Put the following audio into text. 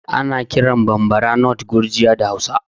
Ana kiran Bambara nut Gurjiya da Hausa